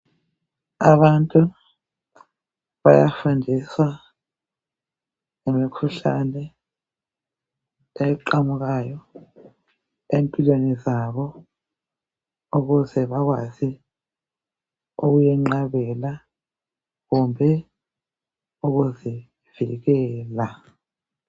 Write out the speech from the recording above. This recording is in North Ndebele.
Abantu bayafundiswa ngemikhuhlane eqhamukayo empilweni zabo ukuze bakwazi ukuyinqabela kumbe ukuzivikela.